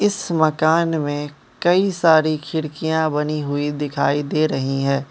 इस मकान में कई सारी खिड़कियां बनी हुई दिखाई दे रही है।